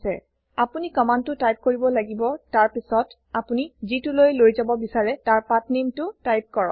আপোনি কম্মান্দটো টাইপ কৰিব লাগিব তাৰপাছত আপোনি যিটোলৈ লৈ যাব বিচাৰে তাৰ pathnameটো টাইপ কৰক